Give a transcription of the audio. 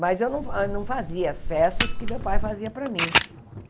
Mas eu não fa não fazia as festas que meu pai fazia para mim.